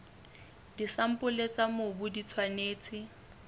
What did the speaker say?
disampole tsa mobu di tshwanetse